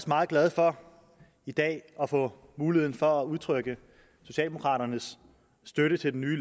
meget glad for i dag at få muligheden for at udtrykke socialdemokraternes støtte til det nye